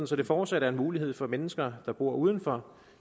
så det fortsat er muligt for mennesker der bor uden for